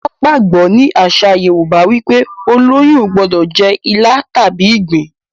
wón gbagbọ ní àṣà yorúbá wípé oloyún o gbódò jé ila tàbí ìgbín.